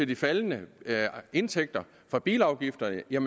de faldende indtægter fra bilafgifterne vil jeg